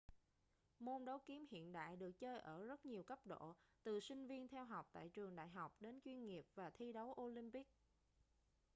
môn đấu kiếm hiện đại được chơi ở rất nhiều cấp độ từ sinh viên theo học tại trường đại học đến chuyên nghiệp và thi đấu olympic